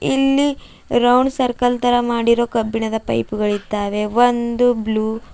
ಇಲ್ಲಿ round circle ತರಾ ಮಾಡಿರೋ ಕಬ್ಬಿಣದ ಪೈಪ್ ಗಳ ಇದ್ದಾವೆ ಒಂದು ಬ್ಲೂ --